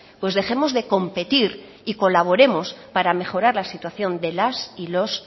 pues dejemos de competir y colaboremos para mejorar la situación de las y los